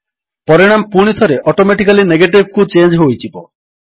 ପରିଣାମ ପୁଣିଥରେ ଅଟୋମେଟିକାଲୀ Negativeକୁ ଚେଞ୍ଜ ହୋଇଯିବ